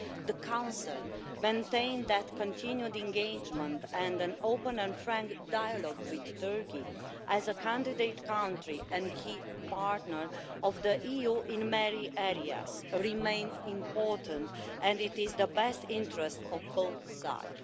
the Council maintains that continued engagement and an open and frank dialogue with Turkey, as a candidate country and a key partner of the EU in many areas, remains important and is in the best interests of both sides.